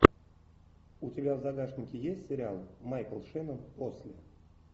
у тебя в загашнике есть сериал майкл шеннон после